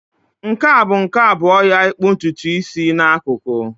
Nke a bụ nke abụọ ya ịkpụ ntutu isi n'akụkụ.